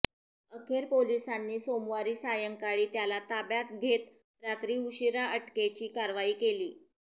अखेर पोलिसांनी सोमवारी सायंकाळी त्याला ताब्यात घेत रात्री उशिरा अटकेची कारवाई केली